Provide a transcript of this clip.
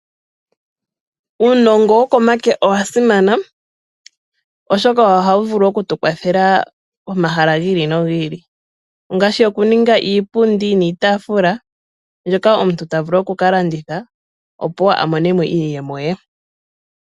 Uunongo wokomake owa simana oshoka ohawu vulu okutukwathela pomahala gi ili nogi ili ngaashi okuninga iipundi niitaafula mbyoka omuntu ta vulu oku kalanditha opo wo amonemo iiyemo ye.